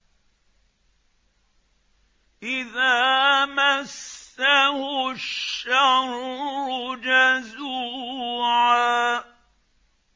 إِذَا مَسَّهُ الشَّرُّ جَزُوعًا